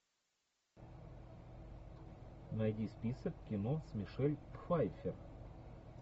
найди список кино с мишель пфайфер